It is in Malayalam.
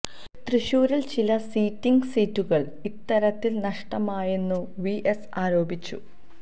തൃശ്ശൂരില് ചില സിറ്റിംഗ് സീറ്റുകള് ഇത്തരത്തില് നഷ്ടമായെന്നും വി എസ് ആരോപിച്ചു